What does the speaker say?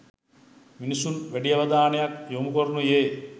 මිනිසුන් වැඩි අවධානයක් යොමු කරනුයේ